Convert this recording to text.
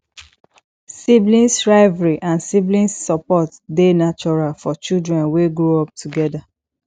sibling rivalry and sibling support de natural for children wey grow up together